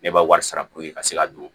Ne ka wari sara puruke ka se ka don